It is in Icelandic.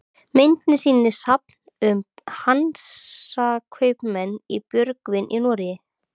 myndin sýnir safn um hansakaupmenn í björgvin í noregi